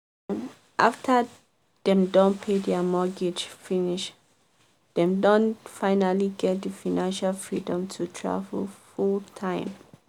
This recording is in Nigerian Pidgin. after dem don pay their mortgage finish dem don finally get the financial freedom to travel full-time.